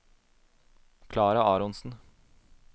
Klara Aronsen